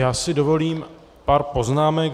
Já si dovolím pár poznámek.